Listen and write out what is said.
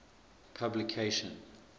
publication